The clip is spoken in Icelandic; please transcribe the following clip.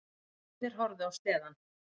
Vinirnir horfðu á sleðann.